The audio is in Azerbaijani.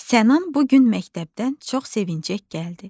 Sənan bu gün məktəbdən çox sevinəcək gəldi.